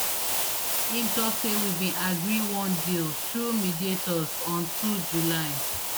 im tok say we bin agree one deal [through mediators] on two july